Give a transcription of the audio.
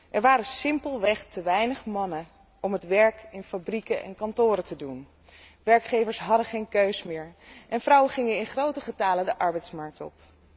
Er waren simpelweg te weinig mannen om het werk in fabrieken en kantoren te doen. Werkgevers hadden geen keus meer en vrouwen gingen in grote getale de arbeidsmarkt op.